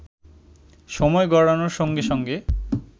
সময় গড়ানোর সঙ্গে সঙ্গে